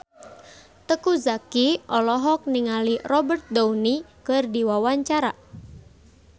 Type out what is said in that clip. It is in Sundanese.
Teuku Zacky olohok ningali Robert Downey keur diwawancara